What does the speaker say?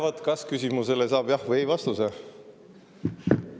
Nojah, kas-küsimusele saab vastata "jah" või "ei".